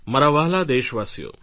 મારા વ્હાલા દેશવાસીઓ